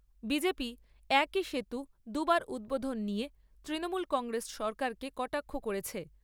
BJP, একই সেতু দু'বার উদ্বোধন নিয়ে তৃণমূল কংগ্রেস সরকারকে কটাক্ষ করেছে।